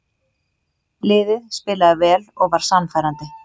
Liðið spilaði vel og var sannfærandi.